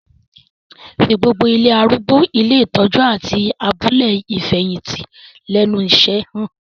Fi gbogbo ilé arúgbó, ilé ìtọ́jú, àti abúlé ìfẹ̀yìntì lẹ́nu iṣẹ́ han